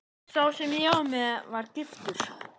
Sá sem ég var með var giftur.